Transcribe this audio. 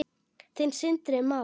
Þinn, Sindri Már.